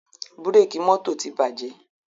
Búkẹ̀kì mọ́tò ti bàjẹ́.